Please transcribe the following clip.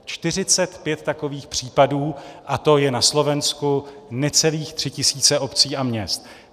Čtyřicet pět takových případů, a to je na Slovensku necelých tři tisíce obcí a měst.